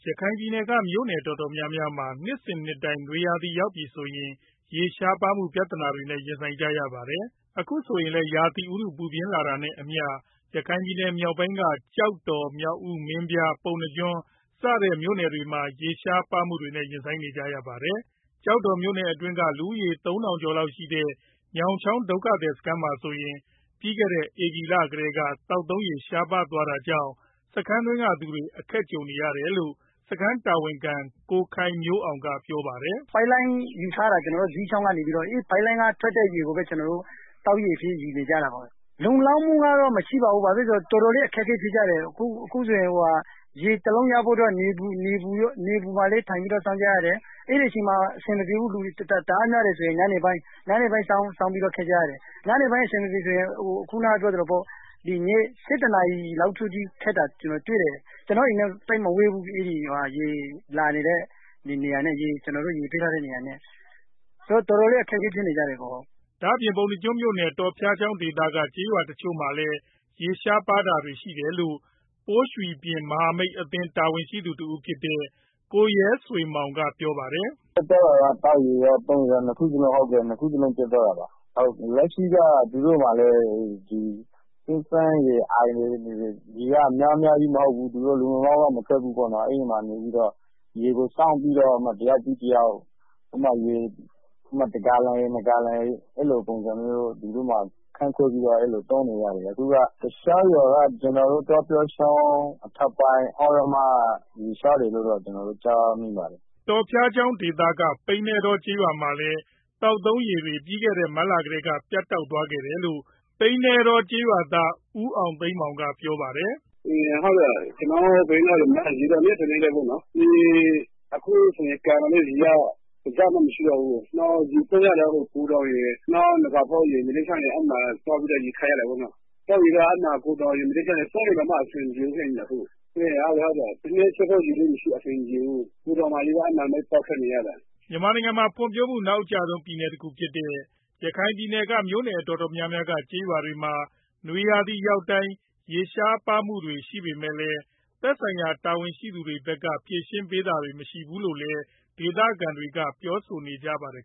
ရခိုင်ပြည်နယ်က မြို့နယ်တော်တော်များများမှာ နှစ်စဉ်နှစ်တိုင်း နွေရာသီရောက်ပြီဆိုရင် ကျေးရှားပါးမှု ပြဿနာတွေနဲ့ ရင်ဆိုင်ကြရပါတယ်။ အခုဆိုရင်လည်း ရာသီဥတု ပူပြင်းလာတာနဲ့အမျှ ရခိုင်မြောက်ပိုင်းက ကျောက်တော်၊ မြောက်ဦး၊ မင်းပြား၊ ပုဏ္ဏားကျွန်းစတဲ့ မြို့နယ်တွေမှာ ရေရှားမှုတွေနဲ့ ရင်ဆိုင်နေကြရပါတယ်။ ကျော်တော်မြို့နယ်အတွင်းက လူဦးရေ ၃,၀၀၀ ကျော်လောက်ရှိတဲ့ ညောင်းချောင်း ဒုက္ခသည်စခန်းမှာဆိုရင်လည်း ပြီးခဲ့တဲ့ ဧပြီလကတည်းက သောက်သုံးရေ ရှားပါးသွားတာကြောင့် စခန်းတွင်းကသူတွေ အခက်ကြုံနေရတယ်လို့ စခန်းတာဝန်ခံ ကိုခိုင်မျိုးအောင်က ပြောပါတယ်။ “ပိုက်လိုင်းယူထားတာ ဇီးချောင်းကနေပြီးတော့ အဲဒီပိုက်လိုင်းက ထွက်တဲ့ ရေကိုပဲ ကျနော်တို့ သောက်ရေအဖြစ်ယူနေကြတာပေါ့။ လုံလောက်မှုကတော့ မရှိပါဘူး။ တော်တော်လေး အခက်အခဲဖြစ်ကြတယ်။ အခုဆိုရင် ရေတစ်အိုးရဖို့အတွက် နေပူမှာလည်း ထိုင်ပြီးတော့ စောင့်ကြရတယ်။ အဲဒီမှာ အဆင်မပြေဘူး။ လူတွေ တအားများတယ်ဆိုရင် ညဘက် ၁၁ နာရီလောက်အထိ စောင့်ပြီးတော့ ရေခပ်ကြတာကို ကျနော်တွေ့တယ်။ ရေခပ်တဲ့ နေရာက ကျနော့်အိမ်နဲ့ သိပ်မဝေးဘူး ရေပေးထားတဲ့နေရာနဲ့ပေါ့၊ ဆိုတော့ တော်တော်လေး အခက်အခဲဖြစ် နေကြပါတယ်။” ဒါအပြင့် ပုဏ္ဏားကျွန်းမြို့နယ် တော်ဖျားချောင်းဒေသက ကျေးရွာတချို့မှာလည်း ရေရှားပါးတာတွေ ရှိတယ်လို့ ပိုးရွီှပြင်မဟာမိတ်အသင်း တာဝန်ရှိသူတစ်ဦးဖြစ်တဲ့ ကိုရဲဆွေမောင်က ပြောပါတယ်။ “ပြတ်သွားတာက သောက်ရေရော၊ သုံးရေရော နှစ်ခုစလုံးပြတ်သွားတာပါ။ လက်ရှိမှာတော့ သူတို့ အင်းတွေ၊ အိုင်တွေက ရေက များများလည်း မဟုတ်ဘူး။ လုံလုံလောက်လောက် မထွက်ဘူးပေါ့နော်။ အဲဒီမှာနေပြီးတော့ ရေကိုစောင့်ပြီးတော့ တစ်ယောက်ပြီး တစ်ယောက် အဲဒီမှာ တဂါလံ နှစ်ဂါလံ အဲဒီလို ခွဲပြီးတော့ သုံးနေရတယ်ဗျာ။ တခြားရွာတွေကတော့ ကျနော်တို့ တောဖျားချောင်းအထက်ပိုင်း သြရမ ကျေးရွာမှာလည်း ရေရှားနေတယ်လို့ သိရပါတယ်။” တောဖျားချောင်းဒေသက ပိန္နဲတောကျေးရွာမှာလည်း သောက်ရေ သုံးရေတွေ ပြီးခဲ့တဲ့ မတ်လကတည်းက ပြတ်တောက်သွားတယ်လို့ ပိန္နဲတောကျေးရွာသား ဦးအောင်သိန်းမောင် ကပြောပါတယ်။ “ကျနော်တို့ ရွာမှာ ရေရှားတာက နှစ်စဉ်နှစ်တိုင်းပေါ့နော်။ အခုဆိုရင် ရွာမှာ ကန်ရေကလည်း တစ်စက်မှ မရှိတော့ဘူး။ ရေကတော့ ဂူတောင်ရယ်၊ တခြားရွာတွေမှာ သွားခပ်ရ တာပေါ့နော်။ သောက်ရေမပြောနဲ့ သုံးရေတောင်မှ အဆင်မပြေဘူးဖြစ်နေတယ်အခုက။ ထမင်းချက်ဖို့ ရေတောင် အဆင်မပြေဘူး။ ဂူတောင်မှာပဲ သွားခပ်နေရတာ။” မြန်မာနိုင်ငံမှာ ဖွံ့ဖြိုးမှု နောက်အကျဆုံး ပြည်နယ်တခုဖြစ်တဲ့ ရခိုင်ပြည်နယ်က မြို့နယ်တော်တော်များများက ကျေးရွာတွေမှာ နွေရာသီရောက်တိုင်း ရေရှားပါးမှုတွေ ရှိနေပေမဲ့လည်း သက်ဆိုင်ရာတာဝန်ရှိသူတွေဘက်က ဖြေရှင်းပေးတာတွေ မရှိဘူးလို့လည်း ဒေသခံတွေက ပြောဆိုကြပါတယ်